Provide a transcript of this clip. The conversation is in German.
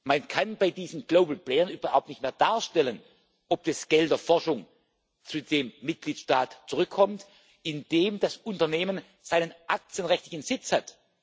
Man kann bei diesen Global Playern überhaupt nicht mehr darstellen, ob das Geld für die Forschung zu dem Mitgliedstaat zurückkommt, in dem das Unternehmen seinen aktienrechtlichen Sitz hat.